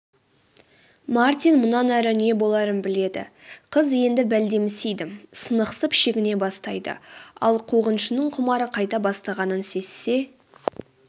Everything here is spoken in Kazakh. мартин мұнан әрі не боларын біледі қыз енді бәлдемсиді сынықсып шегіне бастайды ал қуғыншының құмары қайта бастағанын сезсе